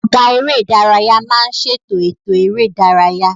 Ọ̀gá eré ìdárayá máa ń ṣètò ètò eré ìdárayá